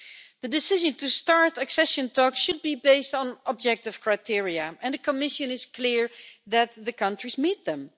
The decision to start accession talks should be based on objective criteria, and the Commission is clear that the countries meet them.